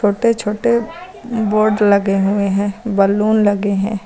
छोटे छोटे बोर्ड लगे हुए है बलून लगे हैं।